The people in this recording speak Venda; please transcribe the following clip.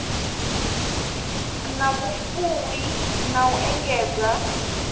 na vhufuwi na u engedza